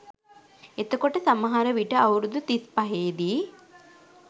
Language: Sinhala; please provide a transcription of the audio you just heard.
එතකොට සමහර විට අවුරුදු තිස්පහේදී